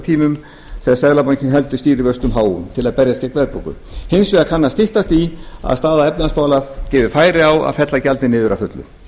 tímum þegar seðlabankinn heldur stýrivöxtum háum til að berjast við verðbólgu hins vegar kann að styttast í að staða efnahagsmála gefi færi á að fella gjaldið niður að fullu